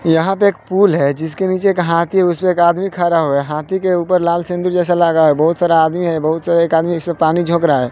यहां पे एक पुल है जिसके नीचे एक हाथी है उसपे एक आदमी खारा होया हाथी के ऊपर लाल सिंदूर जैसा लगा है बहुत सारा आदमी है बहुत सा एक आदमी ऐसे पानी झोंक रहा है।